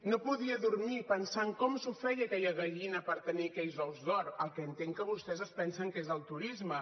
no podia dormir pensant com s’ho feia aquella gallina per tenir aquells ous d’or el que entenc que vostès es pensen que és el turisme